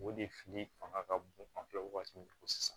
O de fili fanga ka bon an fɛ wagati min kɔ sisan